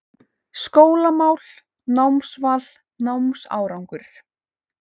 SKÓLAMÁL, NÁMSVAL, NÁMSÁRANGUR